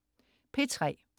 P3: